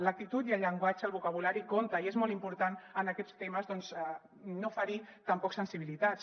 l’actitud i el llenguatge el vocabulari compten i és molt important en aquests temes doncs no ferir tampoc sensibilitats